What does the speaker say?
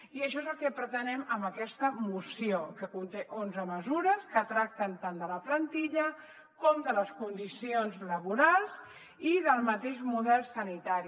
i això és el que pretenem amb aquesta moció que conté onze mesures que tracten tant de la plantilla com de les condicions laborals i del mateix model sanitari